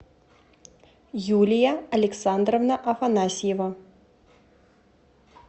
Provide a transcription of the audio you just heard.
юлия александровна афанасьева